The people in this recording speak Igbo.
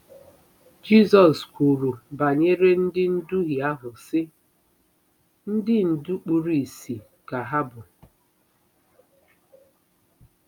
Jizọs kwuru banyere ndị nduhie ahụ, sị: “ Ndị ndú kpuru ìsì ka ha bụ.